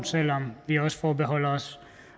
selv om vi også forbeholder os